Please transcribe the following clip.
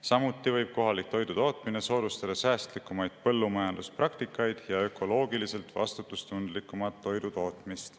Samuti võib kohalik toidutootmine soodustada säästlikumaid põllumajanduspraktikaid ja ökoloogiliselt vastutustundlikumat toidutootmist.